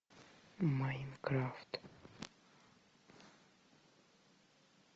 майнкрафт